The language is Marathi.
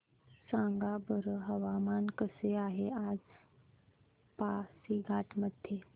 सांगा बरं हवामान कसे आहे आज पासीघाट मध्ये